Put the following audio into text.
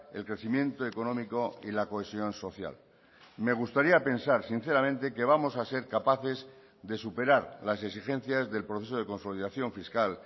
el crecimiento económico y la cohesión social me gustaría pensar sinceramente que vamos a ser capaces de superar las exigencias del proceso de consolidación fiscal